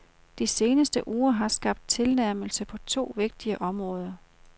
De seneste uger har skabt tilnærmelse på to vigtige områder.